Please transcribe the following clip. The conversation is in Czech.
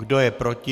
Kdo je proti?